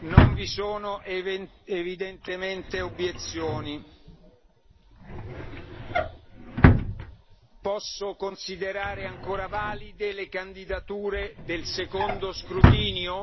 Non vi sono evidentemente obiezioni. Posso considerare ancora valide le candidature del secondo scrutinio?